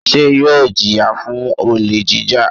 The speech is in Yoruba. Ṣé yóò jìyà fún olè jíjà?